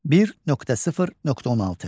1.0.16.